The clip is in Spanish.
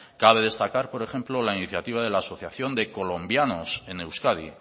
cabe destacar por ejemplo la iniciativa de la asociación de colombianos en euskadi